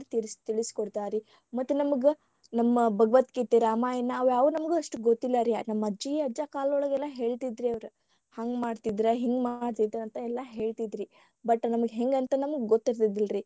ತಿಳಿಸಿ ಕೊಡ್ತಾರಾರಿ ಮತ್ತ ನಮಗ ನಮ್ಮ ಭಗವದ್ಗೀತೆ ರಾಮಾಯಣ ಅವ್ಯಾವು ನಮಗ ಅಷ್ಟ ಗೊತ್ತಿಲ್ಲರಿ ನಮ್ಮ ಅಜ್ಜಿ ಅಜ್ಜ ಕಾಲದೊಳಗ ಎಲ್ಲಾ ಹೆಳತಿದ್ರರಿ ಅವ್ರು ಹಂಗ ಮಾಡ್ತಿದ್ದರ ಹಿಂಗ ಮಾಡ್ತಿದ್ದರ ಅಂತ ಎಲ್ಲಾ ಹೇಳತಿದ್ರರಿ but ನಮಗ ಹೆಂಗ ಅಂತ ನಮಗ ಗೊತ್ತಿರ್ಲಿಲ್ಲರಿ.